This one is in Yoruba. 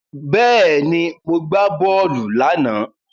Bẹ́ẹ̀ni, mo gbá bọ́ọ̀lù láàná.